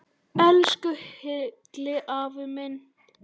Elsku Hilli afi minn.